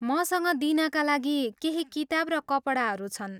मसँग दिनका लागि केही किताब र कपडाहरू छन्।